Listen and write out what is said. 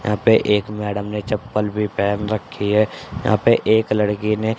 यहाँ पे एक मॅडम ने चप्पल भीं पहन रखीं हैं यहाँ पे एक लड़की ने --